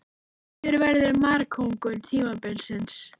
Hver verður markakóngur tímabilsins?